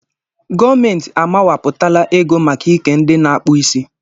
Gọọmenti a mawapụtala ego maka ike ndị na-akpụ isí.